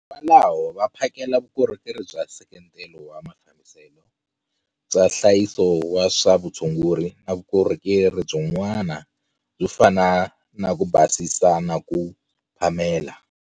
Kwalaho va phakela vukorhokeri bya nseketelo wa mafambiselo, bya nhlayiso wa swa vutshunguri na vukorhokeri byin'wana byo fana na ku basisa na ku phamela.